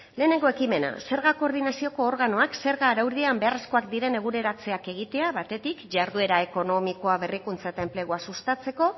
lehenengo ekimena zerga koordinazioko organoak zerga araudian beharrezkoak diren eguneratzeak egitea batetik jarduera ekonomikoa berrikuntza eta enplegua sustatzeko